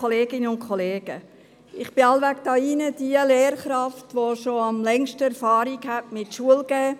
Ich bin hier im Rat wohl diejenige Lehrkraft mit der längsten Erfahrung im Unterrichten.